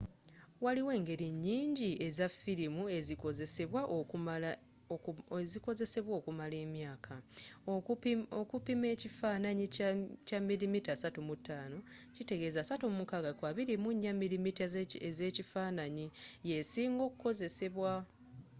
waliiwo engeri nnyingi eza firimu ezikozesebwa okumala emyaka. okupimamu ekifananyi kya 35mm 36 ku 24 mm ezekifananyi yesiinga okukozesebwa